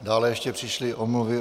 Dále ještě přišly omluvy.